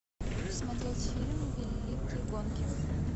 смотреть фильм великие гонки